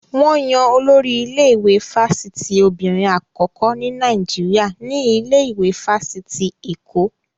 Wọn yan Olórí ilé-ìwé fáfitì obìnrin àkọ́kọ́ ní Nàìjíríà ní ilé ìwé fáfitì Èkó.